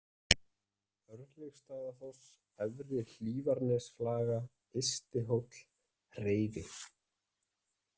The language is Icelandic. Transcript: Örlygsstaðafoss, Efri-Hlífarnesflaga, Ystihóll, Hreifi